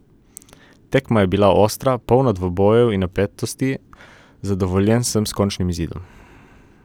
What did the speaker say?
Tekma je bila ostra, polna dvobojev in napetosti, zadovoljen sem s končnim izidom.